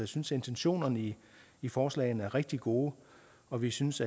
synes intentionerne i i forslaget er rigtig gode og vi synes